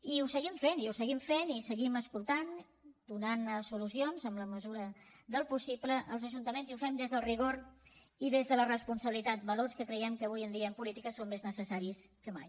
i ho seguim fent i ho seguim fent i seguim escoltant donant solucions en la mesura del possible als ajuntaments i ho hem fet des del rigor i des de la responsabilitat valors que creiem que avui en dia en política són més necessaris que mai